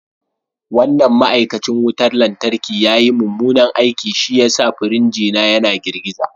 Wannan ma’aikacin wutar lantarki ya yi mummunan aiki, shi ya sa firinjin yana girgiza